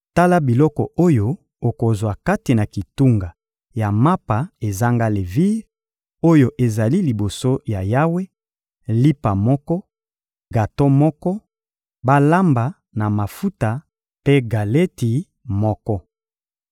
Tala biloko oyo okozwa kati na kitunga ya mapa ezanga levire, oyo ezali liboso ya Yawe: lipa moko, gato moko balamba na mafuta mpe galeti moko.